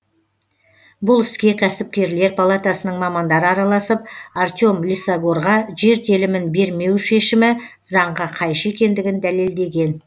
бұл іске кәсіпкерлер палатасының мамандары араласып артем лисагорға жер телімін бермеу шешімі заңға қайшы екендігін дәлелдеген